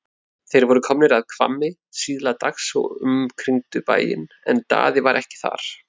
Þeir voru komnir að Hvammi síðla dags og umkringdu bæinn en Daði var ekki þar.